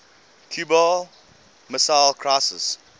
cuban missile crisis